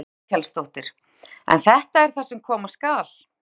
Þórhildur Þorkelsdóttir: En þetta er það sem koma skal?